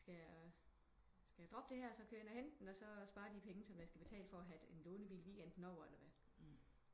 Skal jeg droppe det her så og køre ind og hente den og så spare de penge som jeg skal betale for at have en lånebil weekenden over eller hvad